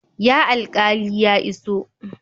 Ya alqali ya iso?